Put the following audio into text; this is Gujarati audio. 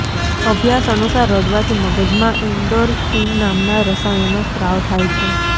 અભ્યાસ અનુસાર રડવાથી મગજમાં એન્ડોરફીન નામના રસાયણનો સ્ત્રાવ થાય છે